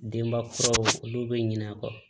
Denba kuraw olu bɛ ɲinɛ a kɔ